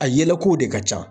A yɛlɛ ko de ka ca.